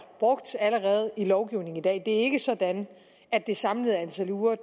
brugt i lovgivningen i dag det er ikke sådan at det samlede antal uger